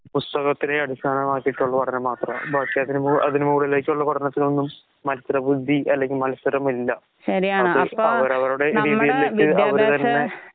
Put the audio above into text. പുസ്തകത്തിലെ അടിസ്ഥാന ഭാഷക്കുള്ള പഠനം മാത്രാ. അതിനുമുകളിലേക്കുള്ള പഠനത്തിനൊന്നും മത്സരബുദ്ധി മത്സരമില്ല. അവര് അവരുടെ രീതിയിലേക്ക് അവര്തന്നെ